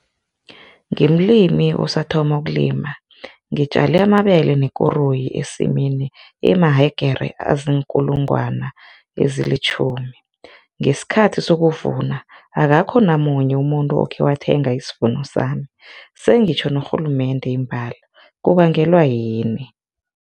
Ngimlimi osathoma ukulima, ngitjale amabele nekoroyi esimini emahegere aziinkulungwana ezilitjhumi, ngesikhathi sokuvuna akakho namunye umuntu okhe wathenga isivuno sami, sengitjho norhulumende imbala, kubangelwa yini?